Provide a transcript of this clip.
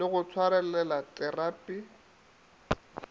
le go swarelela terapi e